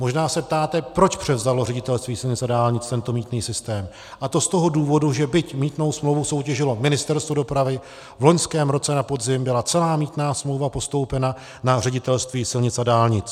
Možná se ptáte, proč převzalo Ředitelství silnic a dálnic tento mýtný systém, a to z toho důvodu, že byť mýtnou smlouvu soutěžilo Ministerstvo dopravy, v loňském roce na podzim byla celá mýtná smlouva postoupena na Ředitelství silnic a dálnic.